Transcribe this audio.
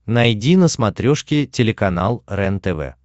найди на смотрешке телеканал рентв